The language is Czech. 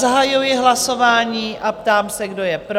Zahajuji hlasování a ptám se, kdo je pro?